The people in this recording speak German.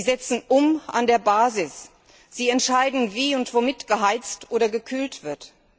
Sie setzen um an der Basis, sie entscheiden, wie und womit geheizt oder gekühlt wird.